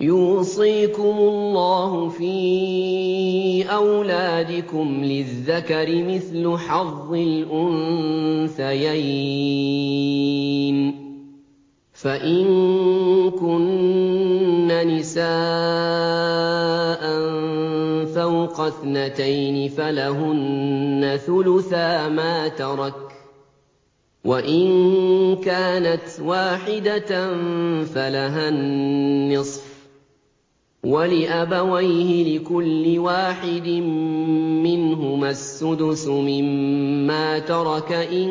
يُوصِيكُمُ اللَّهُ فِي أَوْلَادِكُمْ ۖ لِلذَّكَرِ مِثْلُ حَظِّ الْأُنثَيَيْنِ ۚ فَإِن كُنَّ نِسَاءً فَوْقَ اثْنَتَيْنِ فَلَهُنَّ ثُلُثَا مَا تَرَكَ ۖ وَإِن كَانَتْ وَاحِدَةً فَلَهَا النِّصْفُ ۚ وَلِأَبَوَيْهِ لِكُلِّ وَاحِدٍ مِّنْهُمَا السُّدُسُ مِمَّا تَرَكَ إِن